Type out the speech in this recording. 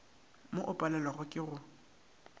mo o palewago ke go